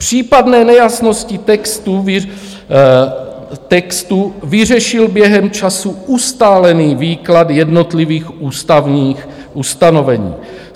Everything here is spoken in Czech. Případné nejasnosti textu vyřešil během času ustálený výklad jednotlivých ústavních ustanovení.